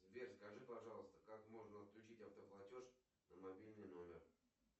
сбер скажи пожалуйста как можно отключить автоплатеж на мобильный номер